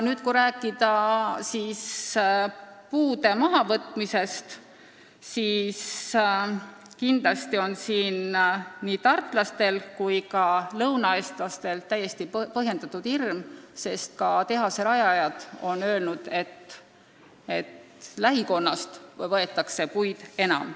Kui rääkida puude mahavõtmisest, siis kindlasti on nii tartlastel kui ka teistel lõunaeestlastel täiesti põhjendatud hirm, sest ka tehase rajajad on öelnud, et lähikonnast võetakse puid enam.